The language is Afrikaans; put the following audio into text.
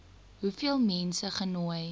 hoeveel mense genooi